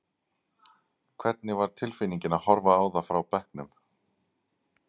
Hvernig var tilfinningin að horfa á það frá bekknum?